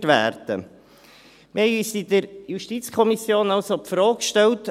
Wir haben uns in der JuKo also die Frage gestellt: